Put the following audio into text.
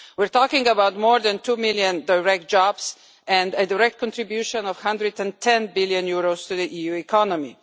We are talking about more than two million direct jobs and a direct contribution of EUR 110 billion to the EU economy.